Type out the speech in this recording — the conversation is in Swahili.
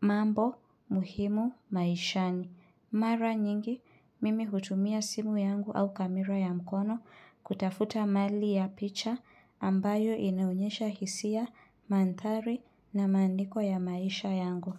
mambo muhimu maishani. Mara nyingi, mimi hutumia simu yangu au kamera ya mkono kutafuta mali ya picha ambayo inaonyesha hisia mantari na maandiko ya maisha yangu.